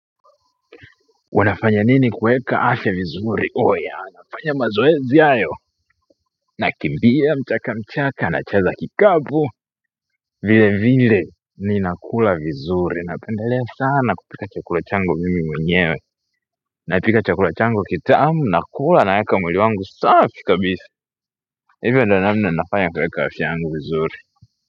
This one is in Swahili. Wanafanya nini kueka afya vizuri oya nafanya mazoezi ayo nakimbia mchaka mchaka nacheza kikapu vile vile ninakula vizuri napendelea sana kupika chakula changu mimi mwenyewe napika chakula changu kitamu nakula naweka mwili wangu safi kabisa hivyo ndiyo nafanya kazi yangu vizuri.